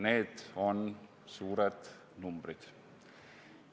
Need on suured numbrid.